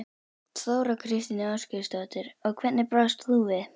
Þóra Kristín Ásgeirsdóttir: Og hvernig brást þú við?